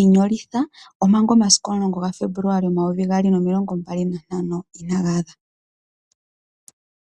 ino litha omanga omasiku omulongo gaFebuluali 2025 inaaga adha.